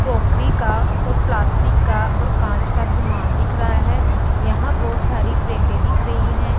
Crockery का और plastic का और कांच का समान दिख रहा है यहां बहुत सारी प्लेटें दिख रही हैं।